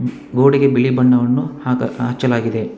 ಬೋರ್ಡಿ ಬಿಳೀ ಬಣ್ಣವನ್ನು ಹಾಕ್ ಹಚ್ಚಲಾಗಿದೆ.